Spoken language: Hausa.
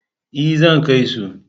E, zan kai su.